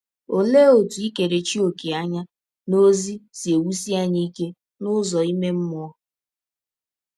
Ọlee ọtụ ikerechi ọ̀kè anya n’ọzi si ewụsi anyị ike n’ụzọ ime mmụọ?